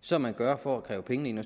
som man gør for at kræve penge ind